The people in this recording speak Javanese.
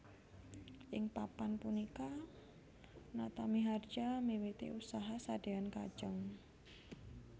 Ing Papan punika Natamiharja miwiti usaha sadean kajeng